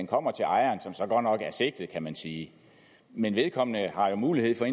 kommer til ejeren som så godt nok er sigtet kan man sige men vedkommende har jo mulighed for